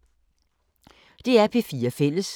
DR P4 Fælles